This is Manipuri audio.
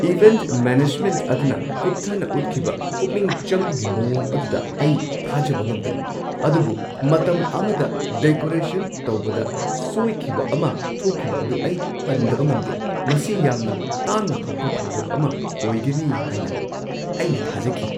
ꯏꯚꯦꯟꯠ ꯃꯦꯅꯦꯖꯃꯦꯟꯠ ꯑꯗꯨꯅ ꯀꯨꯞꯊꯅ ꯎꯠꯈꯤꯕ ꯄꯨꯛꯅꯤꯡ ꯆꯪꯕꯒꯤ ꯃꯑꯣꯡ ꯑꯗꯨꯗ ꯑꯩ ꯊꯥꯖꯕ ꯉꯝꯗꯦ, ꯑꯗꯨꯕꯨ ꯃꯇꯝ ꯑꯃꯗ ꯗꯦꯀꯣꯔꯦꯁꯟ ꯇꯧꯕꯗ ꯁꯣꯏꯈꯤꯕ ꯑꯃ ꯊꯣꯛꯈꯤꯕ ꯑꯗꯨ ꯑꯩ ꯄꯟꯗꯕ ꯉꯝꯗꯦ ꯫ ꯃꯁꯤ ꯌꯥꯝꯅ ꯇꯥꯡꯅ ꯊꯣꯛꯄ ꯊꯧꯗꯣꯛ ꯑꯃ ꯑꯣꯏꯒꯅꯤ ꯍꯥꯏꯅ ꯑꯩꯅ ꯊꯥꯖꯈꯤ ꯫